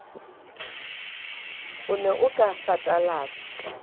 o ne o ka satalatsa